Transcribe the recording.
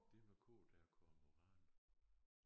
Det med k der Kormoran